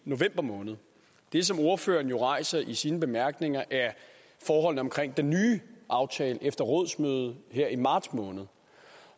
i november måned det som ordføreren rejser i sine bemærkninger er forholdene omkring den nye aftale efter rådsmødet her i marts måned